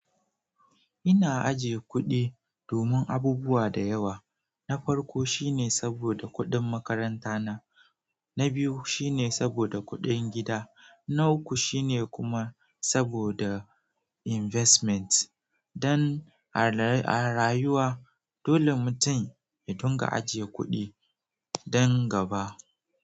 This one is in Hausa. Ina ajiye kuɗi domin abubuwa da yawa. Na farko shine saboda kuɗin makaranta na, na biyu shine saboda kuɗin gida, na uku shine kuma saboda investment. Don alra-- a rayuwa, dole mutum ya dinga ajiye kuɗi dan gaba.